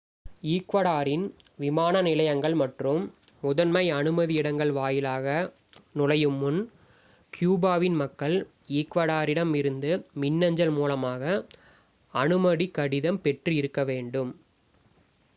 ஈக்வடரின் விமான நிலையங்கள் மற்றும் முதன்மை அனுமதி இடங்கள் வாயிலாக நுழையும் முன் கியூபாவின் மக்கள் ஈக்வடரிடம் இருந்து மின்னஞ்சல் மூலமாக அனுமதி கடிதம் பெற்று இருக்க வேண்டும்